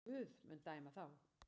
Guð mun dæma þá.